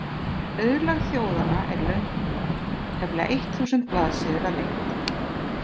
Auðlegð þjóðanna er löng bók, tæplega eitt þúsund blaðsíður að lengd.